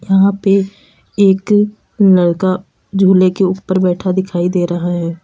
यहां पे एक लड़का झूले के ऊपर बैठा दिखाई दे रहा है।